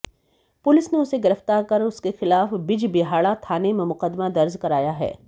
police ने उसे गिरफ्तार कर उसके खिलाफ बिजबिहाड़ा थाने में मुकदमा दर्ज कराया है